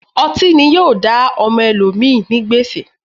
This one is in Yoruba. Ọti ni yoo da ọmọ ẹlomi ni gbèsè